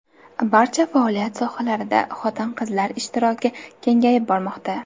Barcha faoliyat sohalarida xotin-qizlar ishtiroki kengayib bormoqda.